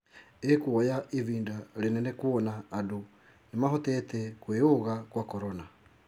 ĩkwoya ĩbida rĩnene kwona andũ nĩmahotete kwĩũga kwa corona